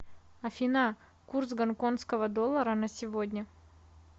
афина курс гонконского доллара на сегодня